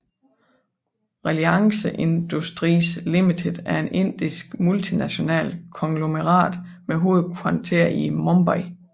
Reliance Industries Limited er et indisk multinational konglomerat med hovedkvarter i Mumbai